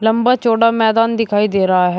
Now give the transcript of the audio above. लंबा चौड़ा मैदान दिखाई दे रहा है।